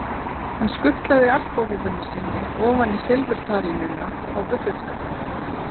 Hann skutlaði alpahúfunni sinni ofan í silfurtarínuna á buffetskápnum.